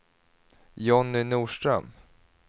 Jonny Norström